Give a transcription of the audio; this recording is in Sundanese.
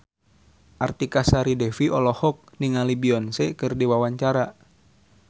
Artika Sari Devi olohok ningali Beyonce keur diwawancara